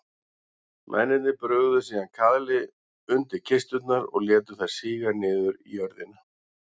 Mennirnir brugðu síðan kaðli undir kisturnar og létu þær síga niður í jörðina.